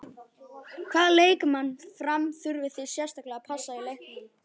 Hvaða leikmann Fram þurfið þið sérstaklega að passa í leiknum?